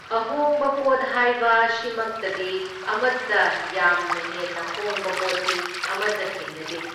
ꯑꯍꯣꯡꯕ ꯄꯣꯠ ꯍꯥꯏꯕ ꯑꯁꯤꯃꯛꯇꯗꯤ ꯑꯃꯇ ꯌꯥꯝꯅ ꯍꯦꯟꯅ ꯍꯣꯡꯕ ꯄꯣꯠꯇꯤ ꯑꯃꯇ ꯊꯦꯡꯅꯗꯦ꯫